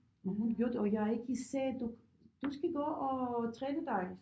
Og hun gjorde det og jeg ikke sagde du du skal gå og træne dig